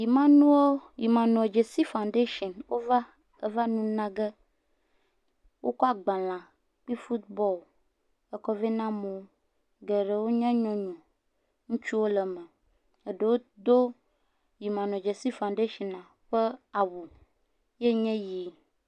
Emmanuel Emmanuel Dzesi foundation wova eva nunage. Wokɔ agbale kple futubɔlu ekɔ vɛ na amewo. Geɖewo nye nyɔnu, ŋutsuwo le eme. Eɖewo do Emmanuel Dzesi foundation ƒe awu ye nye yi.